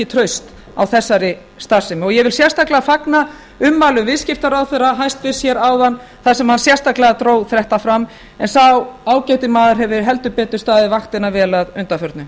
traust á þessari starfsemi ég vil sérstaklega fagna ummælum hæstvirtur viðskiptaráðherra hér áðan þar sem hann sérstaklega dró þetta fram en sá ágæti maður hefur heldur betur staðið vaktina vel að undanförnu